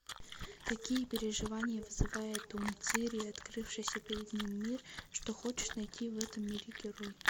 какие переживания вызывает у мцыри открывшийся перед ним мир что хочет найти в этом мире герой